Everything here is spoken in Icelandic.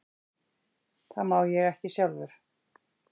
Það má ég ekki sjálfur.